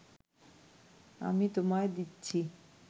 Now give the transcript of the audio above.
আমি তোমায় দিচ্ছি